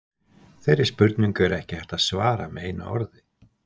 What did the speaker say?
Þeirri spurningu er ekki hægt að svara með einu orði.